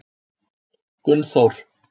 Gunnþór